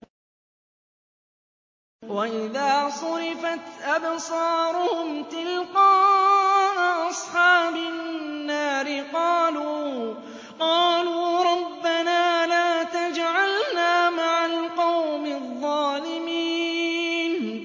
۞ وَإِذَا صُرِفَتْ أَبْصَارُهُمْ تِلْقَاءَ أَصْحَابِ النَّارِ قَالُوا رَبَّنَا لَا تَجْعَلْنَا مَعَ الْقَوْمِ الظَّالِمِينَ